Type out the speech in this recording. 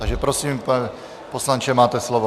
Takže prosím, pane poslanče, máte slovo.